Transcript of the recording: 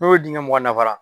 N'o dingɛ mugan dafara